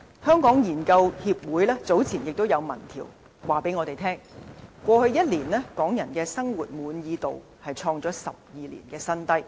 香港研究協會早前的民意調查顯示，過去一年港人生活滿意度創下12年新低。